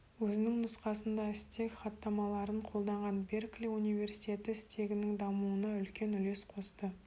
өзінің нұсқасында стек хаттамаларын қолданған беркли университеті стегінің дамуына үлкен үлес қосты